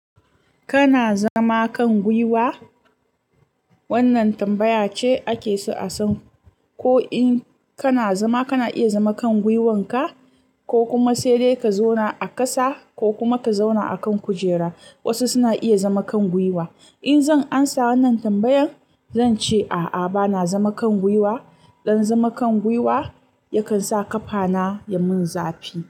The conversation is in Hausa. Kana zama kan gwuiwa? Wannan tambaya ce ake so a san ko in kana zama, kana iya zama kan gwuiwanka, ko kuma sai dai ka zauna a ƙasa ko kuma ka zauna a kan kujera. Wasu suna iya zama kan gwiwa. In zan amsa wannan tambayan, zan ce a'a bana zama kan gwuiwa. Dan zama kan gwuiwa yakan sa ƙafana ya mun zafi.